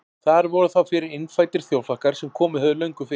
Þar voru þá fyrir innfæddir þjóðflokkar sem komið höfðu löngu fyrr.